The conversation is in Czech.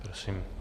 Prosím.